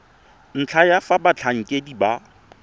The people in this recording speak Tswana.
ntlha ya fa batlhankedi ba